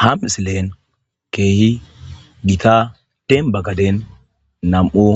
Ha missilen kehi gita denba gaden nam'u